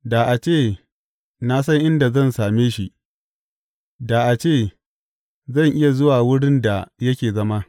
Da a ce na san inda zan same shi; da a ce zan iya zuwa wurin da yake zama!